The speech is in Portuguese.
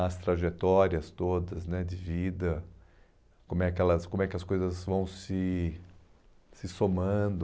as trajetórias todas né de vida, como é que elas como é que as coisas vão se se somando.